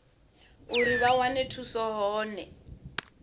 uri vha wane thuso hone